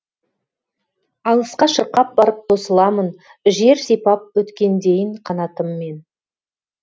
алысқа шырқап барып тосыламын жер сипап өткендейін қанатыммен